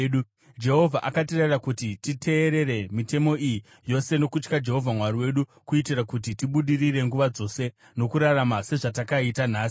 Jehovha akatirayira kuti titeerere mitemo iyi yose nokutya Jehovha Mwari wedu, kuitira kuti tibudirire nguva dzose nokurarama sezvatakaita nhasi.